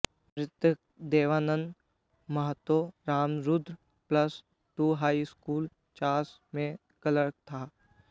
मृतक Devnandan Mahato Ramrudra plus two high school Chas में clerk था